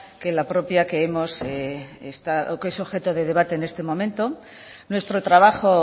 que la propia que hemos o que es objeto de debate en este momento nuestro trabajo